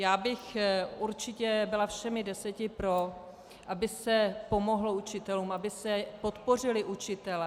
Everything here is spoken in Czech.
Já bych určitě byla všemi deseti pro, aby se pomohlo učitelům, aby se podpořili učitelé.